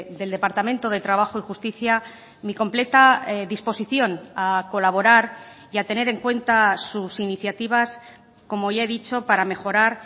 del departamento de trabajo y justicia mi completa disposición a colaborar y a tener en cuenta sus iniciativas como ya he dicho para mejorar